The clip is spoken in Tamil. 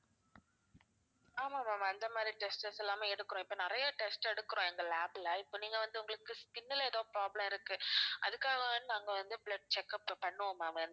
ஆமாம் ma'am அந்த மாதிரி tests எல்லாமே எடுக்கிறோம் இப்ப நிறைய test எடுக்கிறோம் எங்க lab ல இப்ப நீங்க வந்து உங்களுக்கு skin ல எதோ problem இருக்கு அதுக்காகவா நாங்க வந்து blood check up பண்ணுவோம் ma'am